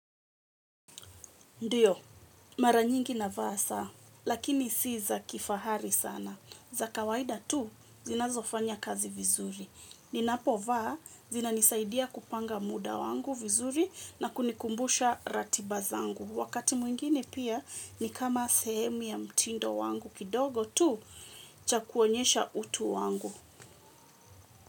Ndiyo, mara nyingi navaa saa, lakini si za kifahari sana. Za kawaida tu, zinazofanya kazi vizuri. Ninapovaa, zinanisaidia kupanga muda wangu vizuri na kunikumbusha ratiba zangu. Wakati mwingine pia, ni kama sehemu ya mtindo wangu kidogo tu, cha kuonyesha utu wangu.